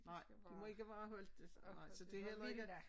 Nej de må ikke være holdt i så det heller ikke